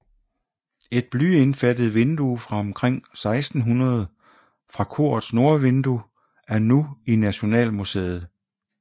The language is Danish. Et blyindfattet vindue fra omkring 1600 fra korets nordvindue er nu i Nationalmuseet